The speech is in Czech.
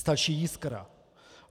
Stačí jiskra.